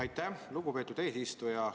Aitäh, lugupeetud eesistuja!